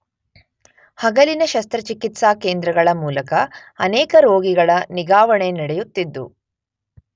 ಹಗಲಿನ ಶಸ್ತ್ರಚಿಕಿತ್ಸಾ ಕೇಂದ್ರಗಳ ಮೂಲಕ ಅನೇಕ ರೋಗಿಗಳ ನಿಗಾವಣೆ ನಡೆಯುತ್ತಿದ್ದು